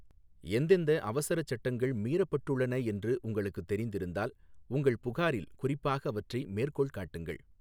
எந்தெந்த அவசரச் சட்டங்கள் மீறப்பட்டுள்ளன என்று உங்களுக்குத் தெரிந்திருந்தால், உங்கள் புகாரில் குறிப்பாக அவற்றை மேற்கோள் காட்டுங்கள்.